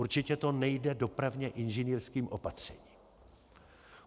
Určitě to nejde dopravně inženýrským opatřením.